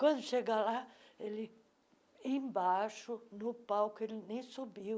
Quando chega lá, ele embaixo, no palco, ele nem subiu.